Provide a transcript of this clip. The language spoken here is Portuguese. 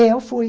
Eu fui.